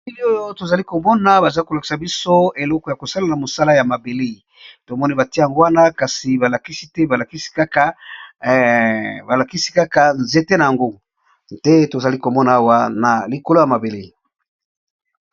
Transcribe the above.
Bilili oyo tozali komona baza kolokisa biso eleko ya kosala na mosala ya mabele, tomoni bati yango wana kasi balakisi te balakisi kaka nzete na yango nde tozali komona awa na likolo ya mabele.